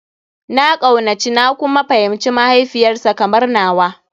Na kaunaci na kuma fahimci mahaifiyar sa kamar nawa.